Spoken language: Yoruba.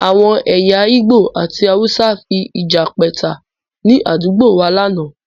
Àwọn ẹ̀yà igbó àti hausa fi ìjà pẹ́ta ni àdúgbò wá láánaà